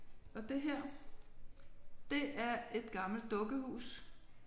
Og det her det er et gammelt dukkehus